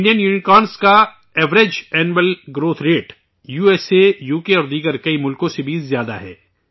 Indian unicorn کا average annual growth rate, U S A, U K اور دیگر کئی ممالک سے بھی زیادہ ہے